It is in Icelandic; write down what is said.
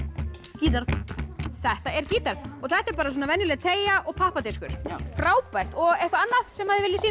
gítar þetta er gítar og þetta er bara venjuleg teygja og pappadiskur já frábært eitthvað annað sem þið viljið sýna